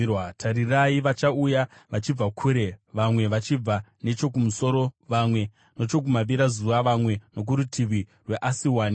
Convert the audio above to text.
Tarirai vachauya vachibva kure: vamwe vachibva nechokumusoro, vamwe nechokumavirazuva, vamwe nokurutivi rweAsiwani.”